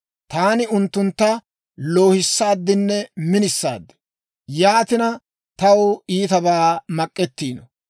«Taani unttuntta loohissaadinne minisaad; yaatinakka taw iitabaa mak'ettiino.